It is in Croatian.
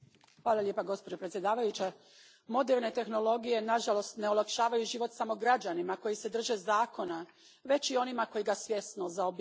Gospođo predsjednice, moderne tehnologije nažalost ne olakšavaju život samo građanima koji se drže zakona, već i onima koji ga svjesno zaobilaze.